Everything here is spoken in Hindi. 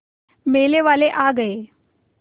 मेले वाले आ गए